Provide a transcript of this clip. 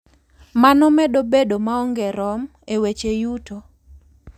Mano medo bedo maonge rom e weche yuto.